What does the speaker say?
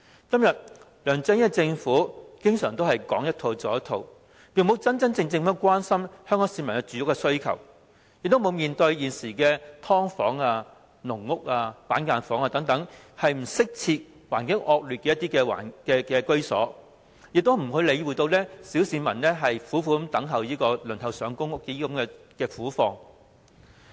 今天，梁振英政府講一套，做一套，從沒有真正關心香港市民的住屋需求，沒有面對現時住在"劏房"、"籠屋"、"板間房"等不適切、環境惡劣居所的市民的困難，也沒有理會小市民苦苦輪候公屋的苦況。